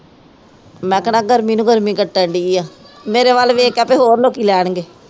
ਗਰਮੀ ਨੂੰ ਗਰਮੀ ਕੱਟਣ ਡੀ ਆ ਮੇਰੇ ਵੱਲ ਵੇਖ ਕੇ ਤੇ ਹੋਰ ਲੋਕੀ ਲੈਣ ਗੇ